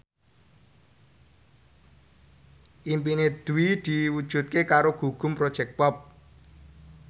impine Dwi diwujudke karo Gugum Project Pop